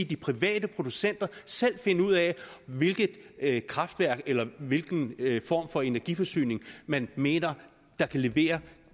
de private producenter selv finde ud af hvilken af hvilken form for energiforsyning man mener kan leveres